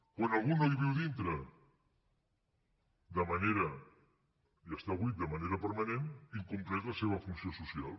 quan algú no hi viu dintre i està buit de manera permanent incompleix la seva funció social